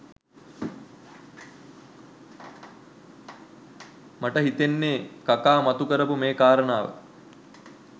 මට හිතෙන්නේ කකා මතු කරාපු මේ කාරණාව